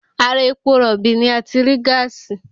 Ara epo rọ̀bì ni a ti rí gáàsì